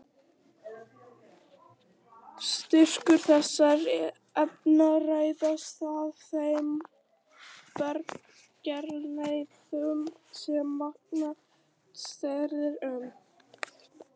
Styrkur þessara efna ræðst af þeim berggerðum sem vatnið streymir um.